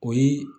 O ye